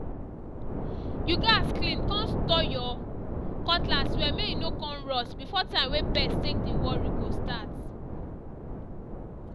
you gats clean con sotre your cutlass well may e no con rust before time wey pest take dey worry go start